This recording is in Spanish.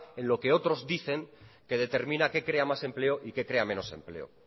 en lo que otros dicen que determina qué crea más empleo y qué crea menos empleo